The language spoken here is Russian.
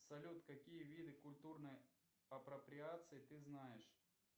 салют какие виды культурной апроприации ты знаешь